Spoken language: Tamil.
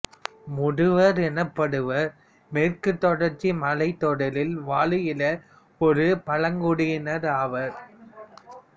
முதுவர் எனப்படுவோர் மேற்குத் தொடர்ச்சி மலைத்தொடரில் வாழ்கிற ஒரு பழங்குடியினர் ஆவர்